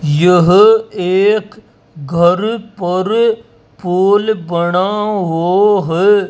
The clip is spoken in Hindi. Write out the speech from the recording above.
यह एक घर पर फूल पड़ा हो है।